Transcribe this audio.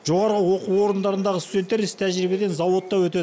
жоғары оқу орындарындағы студенттер іс тәжірибеден зауытта өтеді